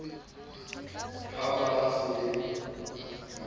ha ba sa new ba